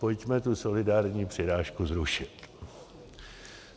Pojďme tu solidární přirážku zrušit.